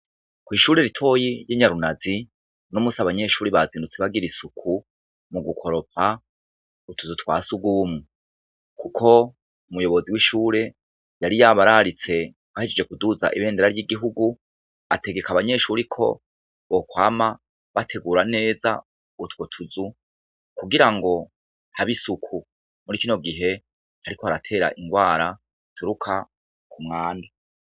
Kw'ishure ritoyi ry'i Nyarunazi, uno musi abanyeshuri bazindutse bagira isuku mu gukoropa utuzu twa surwumwe. Kuko umuyobozi w'ishure yari yabararitse bahejeje kuduza ibendera ry'igihugu, ategeka abanyeshure ko bokwama bategura neza utwo tuzu kugira habe isuku muri kino gihe hariko haratera ingwara zituruka ku mwanda.